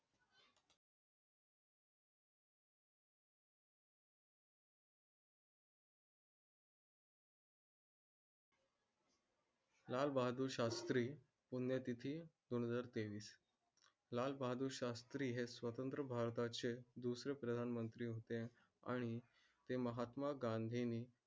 लाल बहादूर शास्त्री पुण्यतिथी, दोन हजार तेवीस. लाल बहादुर शास्त्री हे स्वतंत्र भारता चे दुसरे प्रधान मंत्री होते आणि ते महात्मा गांधी ने